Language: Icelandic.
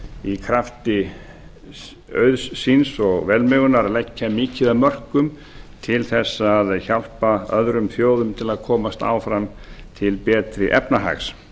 í krafti auðs síns og velmegunar að leggja mikið af mörkum til þess að hjálpa öðrum þjóðum til að komast áfram tala ári efnahags